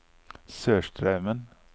Sørstraumen